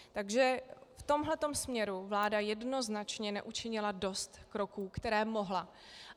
Takže v tomhle směru vláda jednoznačně neučinila dost kroků, které mohla.